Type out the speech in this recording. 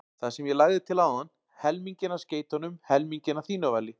Það sem ég lagði til áðan: helminginn af skeytunum helminginn að þínu vali